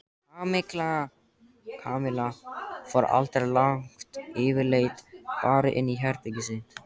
Kamilla fór aldrei langt yfirleitt bara inn í herbergið sitt.